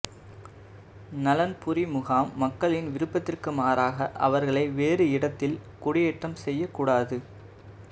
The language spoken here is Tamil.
நலன்புரிமுகாம் மக்களின் விருப்பத்திற்கு மாறாக அவர்களை வேறு இடத்தில் குடியேற்றம் செய்யக்கூடாது